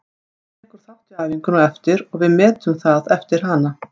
Hann tekur þátt í æfingunni á eftir og við metum það eftir hana.